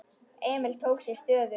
Emil tók sér stöðu.